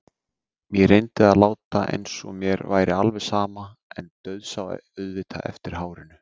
Ég reyndi að láta eins og mér væri alveg sama en dauðsá auðvitað eftir hárinu.